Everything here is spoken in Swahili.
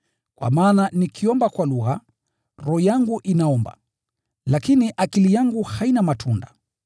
Kwa maana nikiomba kwa lugha, roho yangu inaomba, lakini akili yangu haina matunda.